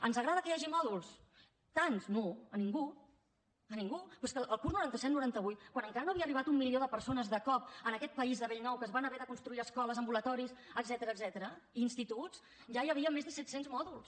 ens agrada que hi hagi mòduls tants no a ningú a ningú però és que el curs noranta set noranta vuit quan encara no havia arribat un milió de persones de cop en aquest país de bell nou que es van haver de construir escoles ambulatoris etcètera i instituts ja hi havia més de set cents mòduls